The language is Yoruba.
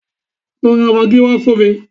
Lọ ra magí wá fún mi!